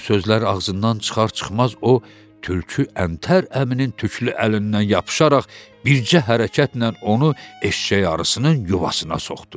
Bu sözlər ağzından çıxar-çıxmaz o tülkü əntər əminin tüklü əlindən yapışaraq bircə hərəkətlə onu eşşək arısının yuvasına soxdu.